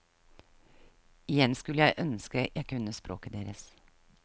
Igjen skulle jeg ønske jeg kunne språket deres.